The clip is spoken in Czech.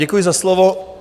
Děkuji za slovo.